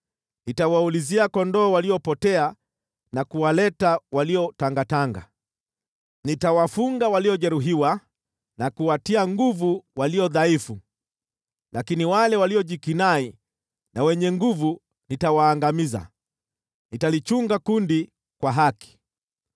Nitawaulizia kondoo waliopotea na kuwaleta waliotangatanga. Nitawafunga waliojeruhiwa na kuwatia nguvu walio dhaifu lakini wale waliojikinai na wenye nguvu nitawaangamiza. Nitalichunga kundi kwa haki.